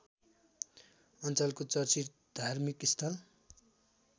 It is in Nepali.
अञ्चलको चर्चित धार्मिकस्थल